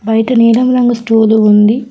బైట నీలం రంగు స్టూలు ఉంది.